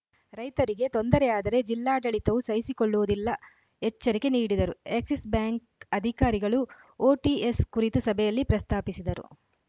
ರೈತರಿಗೆ ತೊಂದರೆ ಆದರೆ ಜಿಲ್ಲಾಡಳಿತವೂ ಸಹಿಸಿಕೊಳ್ಳುವುದಿಲ್ಲ ಎಚ್ಚರಿಕೆ ನೀಡಿದರು ಎಕ್ಸಿಸ್‌ ಬ್ಯಾಂಕ್‌ ಅಧಿಕಾರಿಗಳು ಓಟಿಎಸ್‌ ಕುರಿತು ಸಭೆಯಲ್ಲಿ ಪ್ರಸ್ತಾಪಿಸಿದರು